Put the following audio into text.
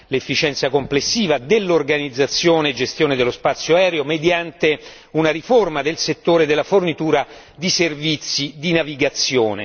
l'efficienza complessiva dell'organizzazione e gestione dello spazio aereo mediante una riforma del settore della fornitura di servizi di navigazione.